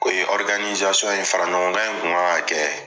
O ye ye, fara ɲɔgɔnkan in kun kan ka kɛ